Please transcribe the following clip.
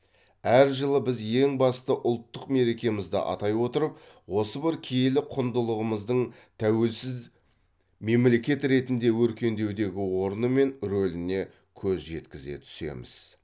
әр жылы біз ең басты ұлттық мерекемізді атай отырып осы бір киелі құндылығымыздың тәуелсіз мемлекет ретінде өркендеудегі орны мен рөліне көз жеткізе түсеміз